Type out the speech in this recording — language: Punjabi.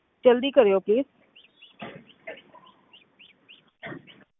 ਜ਼ਲਦੀ ਕਰਿਓ please